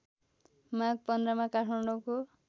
माघ १५ मा काठमाडौँको